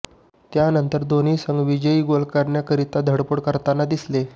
त्यानंतर दोन्ही संघ विजयी गोल करण्याकरीता धडपड करताना दिसले